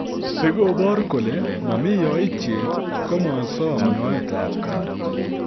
Sigobor kole momi yaityet, komosom nyoetap kaat.